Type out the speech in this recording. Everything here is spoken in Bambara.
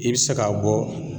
I bɛ se k'a bɔ